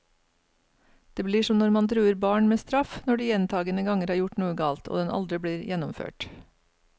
Det blir som når man truer barn med straff når de gjentagende ganger har gjort noe galt, og den aldri blir gjennomført.